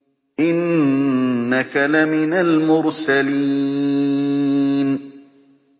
إِنَّكَ لَمِنَ الْمُرْسَلِينَ